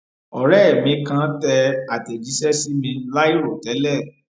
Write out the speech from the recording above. òré mi kàn tẹ àtẹjíṣẹ sí mi láìròtẹlẹ